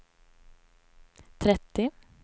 trettio